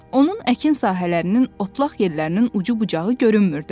Onun əkin sahələrinin, otlaq yerlərinin ucu-bucağı görünmürdü.